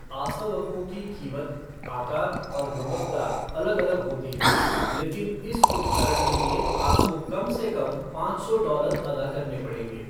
आसवकों की कीमत, आकार और गुणवत्ता अलग अलग होती है, लेकिन इस उपकरण के लिए आपको कम से कम पाँच सौ डॉलर अदा करने पड़ेंगे।